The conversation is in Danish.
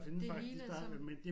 Det hele er sådan